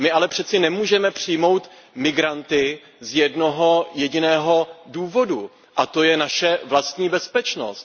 My ale přeci nemůžeme přijmout migranty z jednoho jediného důvodu, a to je naše vlastní bezpečnost.